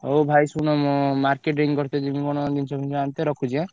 ହଉ ଭାଇ ଶୁଣ ମୁଁ marketing କରିତେ ଯିବି କଣ ଜିନିଷ ଫିନିଶ ଆଣିତେ ରଖୁଛି ଏଁ?